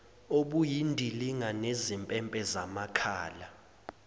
obuyindilinga nezimpempe zamakhala